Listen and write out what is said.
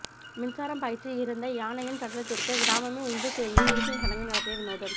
மின்சாரம் பாய்ச்சி இறந்த யானையின் சடலத்திற்கு கிராமமே ஒன்று சேர்ந்து இறுதி சடங்கு நடத்திய வினோதம்